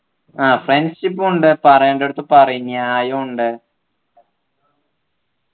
ആഹ് friendship ഉം ഉണ്ട് പറയേണ്ടടുത്തു പറയും ചെയ്യും ന്യായം ഉണ്ട്